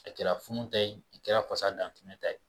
I kɛra funu tɛ ye a kɛra fasa dantɛmɛ ta ye